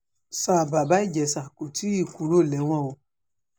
sa bàbá ìjẹ́sà kò tí ì kúrò lẹ́wọ̀n o